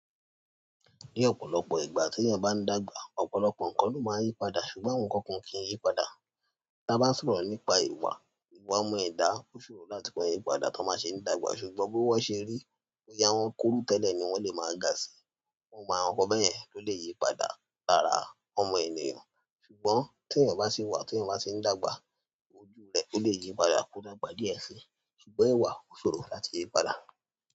Ní ọ̀pọ̀lọpọ̀ ìgbà tí èèyàn bá ń dàgbà, ọ̀pọ̀lọpọ̀ nǹkan ló máa ń yí padà ṣùgbọ́n àwọn nǹkan kan o kì í yí padà. Tí a bá ń sọ̀rọ̀ nípa ìwà, ìwà ọmọ ẹ̀dá ó ṣòro láti máa yí padà tí wọ́n bá ṣe ń dàgbà ṣùgbọ́n bi wọ́n ṣe rí boyà wọn kúrú tẹ́lẹ̀ ni wọ́n lè máa ga sí i. Gbogbo àwọn nǹkan bẹ́yẹn ló lè yí padà lára ọmọ ènìyàn ṣùgbọ́n tí èèyàn bá sì wà tí èèyàn bá tì ń dàgbà ojú rẹ̀ ó lè yí padà kí ó dàgbà díẹ̀ síi ṣùgbọ́n ìwà ó ṣòro láti yí padà.